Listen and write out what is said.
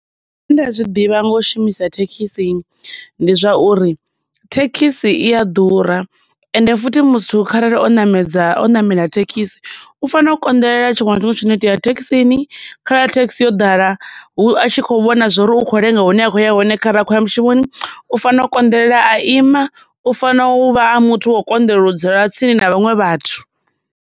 Nda zwi ḓivha nga u shumisa thekhisi ndi zwa uri, thekhisi i ya ḓura, ende futhi muthu kharali o ṋamedza o namela thekhisi, u fanela u konḓelela tshiṅwe na tshiṅwe tshi no itea thekhisini, kha thekhisi yo ḓala hu a tshi kho vhona zwori u kho lenga hune a khou ya hone khara a khoya mushumoni, u fanela u konḓelela a ima, u fanela uvha a muthu wa u konḓelela u dzula tsini na vhaṅwe vhathu.